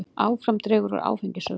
Áfram dregur úr áfengissölu